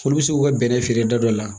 Olu bɛ se k'u ka bɛnɛ feere da dɔ la